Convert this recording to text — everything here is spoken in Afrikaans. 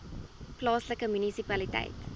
plaaslike munisipaliteit